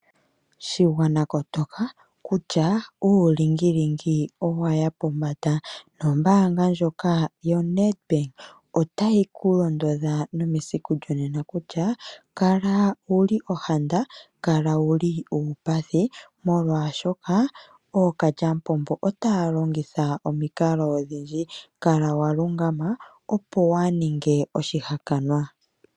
Shigwana kotoka kutya uulingili owaya pombanda, nombaanga ndjoka yoNedbank otayi ku londodha nomesiku lyonena kutya kala wuli ohanda kala wu li uupathi, molwaashoka ookalya mupombo otaya longitha omikalo odhindji. Kala wa lungama opo waa ninge oshihakanwa.